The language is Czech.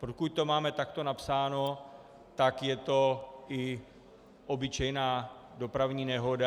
Pokud to máme takto napsáno, tak je to i obyčejná dopravní nehoda.